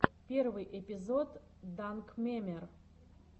первый эпизод данкмемер